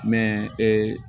ee